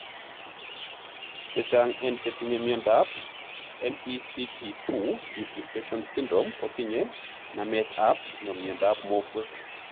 chechang en chetinye miondap MECP2 duplication syndrome kotinye namet ap miondap mokwek.